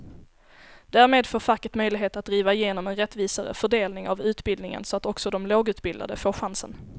Därmed får facket möjlighet att driva igenom en rättvisare fördelning av utbildningen så att också de lågutbildade får chansen.